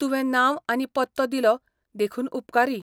तुवें नांव आनी पत्तो दिलो देखून उपकारी.